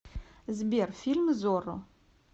сбер фильм зорро